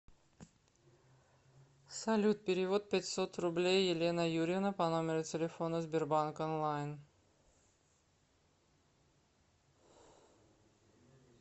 салют перевод пятьсот рублей елена юрьевна по номеру телефона сбербанк онлайн